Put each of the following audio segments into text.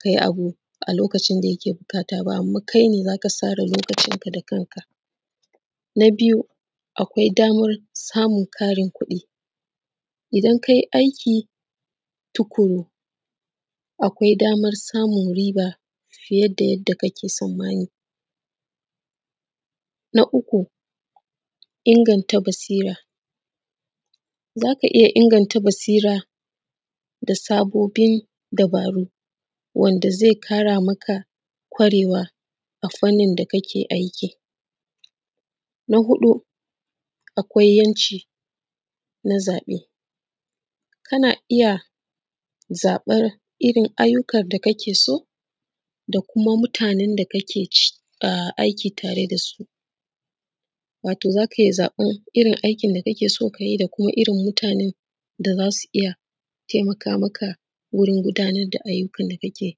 ka yi abu a lokacin da kake buƙata ba kuma kai ne za ka tsara lokacinka da kanka. Na biyu akwai daman samun ƙarin kuɗi, idan kai aiki tuƙuru akwai daman samun riba fiye da yanda kake tsanmani, na uku inganta basira, za ka iya inganta basira da sabobin abu wanda zai ƙara maka kwarewa a fanni da kake aiki. Na huɗu akwai ‘yanci na zaɓe, kana iya zaɓan irin ayyukan da kake so da kuma mutanen da kake aiki tare da su wato za ka iya zaɓan irin aikin da kake so ka yi da irin da irin mutanen da za su iya taimaka maka wurin gudanar da ayyukan da kake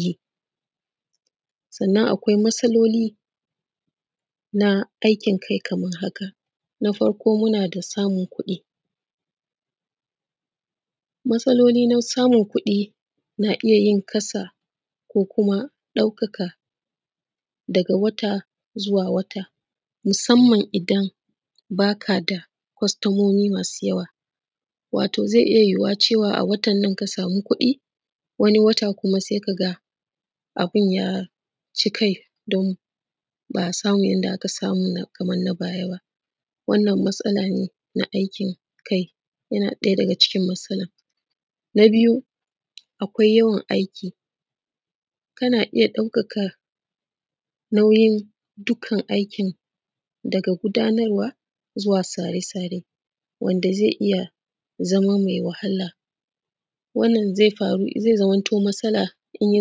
yi. Sannan akwai matsaloli na aikin kai kaman haka: na farko muna da samun kuɗi matsaloli na samun kuɗi na iya yin ƙasa ko kuma ɗauka daga wata zuwa wata musannamn idan ba ka da kustomomi masu yawa, wato zai iya yuwowa a watannan ka sama kuɗi wani wata kuma sai ka ga abin ya ci kai ba a samu inda aka samu a baya ba. Wannan matsala ne na aikin kai, na ɗaya daga cikin matsalan na biyu akwai yawan aiki, kana iya ɗaukan nauyi dukkan aiki daga gudanarwa zuwa sare-sare wanda zai iya zama maiwahala wannan zai zamantu matsala ze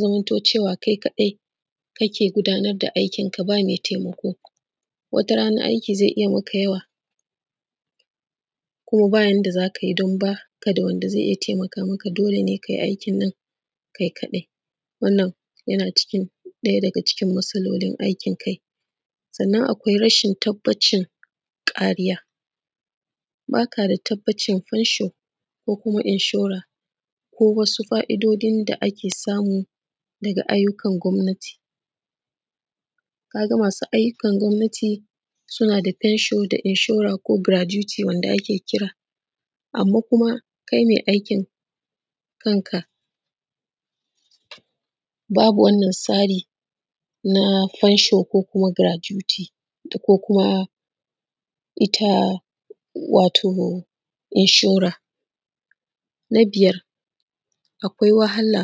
zamantu cewa kai kaɗai kake gudanar da aikinka ba me taimako, wata rana aiki zai iya maka yawa kuma ba ka da yanda za ka yi don ba mai taimaka maka dole ne kai aikin nan kai kaɗai, wannan yana ɗaya daga cikin matsalolin aikin kai. Sannan akwai tabbacin rashin kariya, ba ka da tabbacin ko kuma inshora ko wasu fa’idodin da ake samu daga ayyukan gwamnati ka ga masu ayyukan gwamnati suna da fenshon ko garatuti da ake kira anma kai me aikin kanka babu wanna tsari na fenshon ko garatuti ko kuma ita wato inshore. Na biyar akwai wahala,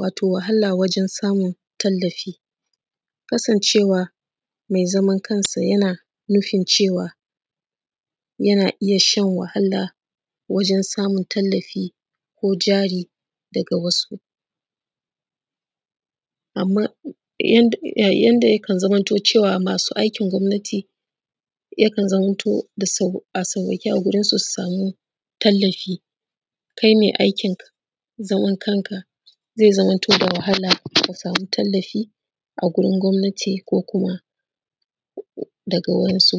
wato wahala wajen samun tallafi kasancewa mai zaman kanshi yana jin cewa yana iya shan wahala wajen samun tallafi ko jari daga wasu, anma yanda yakan zamo cewa ma’aikacin gwamnati yakan zamo a sauwaƙe a wurinsu su sama tallafi kai mai aikin zaman kanka zai zamanto da wahala ka sama tallafi a wajen gwamnati ko kuma daga wurinsu.